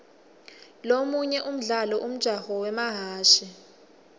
lomunye umdlalo umjaho wemahhashi